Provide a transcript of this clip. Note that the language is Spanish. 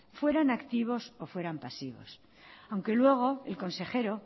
fueran activos o fueran pasivos aunque luego el consejero